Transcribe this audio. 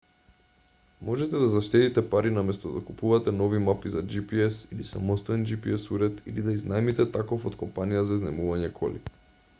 можете да заштедите пари наместо да купувате нови мапи за gps или самостоен gps уред или да изнајмите таков од компанија за изнајмување коли